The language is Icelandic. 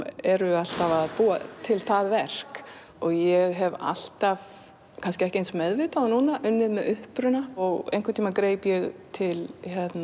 eru alltaf að búa til það verk og ég hef alltaf kannski ekki eins meðvitað og núna unnið með uppruna og einhvern tímann greip ég til